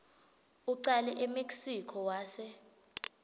ucale emexico wase